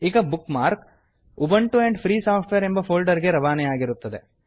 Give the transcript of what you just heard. ಈ bookmark Ubuntu and free software ಎಂಬ folder ಗೆ ರವಾನೆಯಾಗಿರುತ್ತದೆ